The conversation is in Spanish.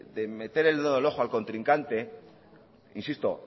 de meter el dedo en el ojo al contrincante insisto